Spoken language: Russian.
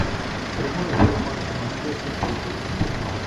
прямой эфир матча манчестер против арсенала